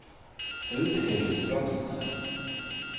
Audhild Strømsnes